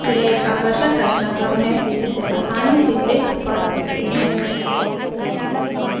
यह एक आकर्षक रचनाक्रम है जिसे आसानी से लिख पढ़ सकते हैं